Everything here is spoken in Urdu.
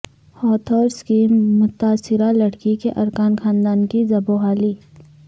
ہاتھرس کی متاثرہ لڑکی کے ارکان خاندان کی زبوں حالی